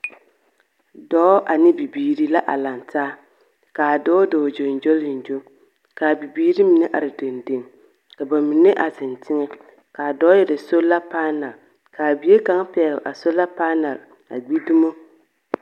Dɔɔ ane bibiiri la lantaa, ka adɔɔ dɔɔ gyoŋgyoliŋgyo ka a bibiiri ine are dendeŋe, ka ba mine zeŋ teŋɛ. Ka a dɔɔ erɛ sola paanɛl ka a bie kaŋa pɛgele a sola paanɛl a gi dumo.